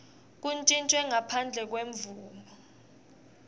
kuntjintjwe ngaphandle kwemvumo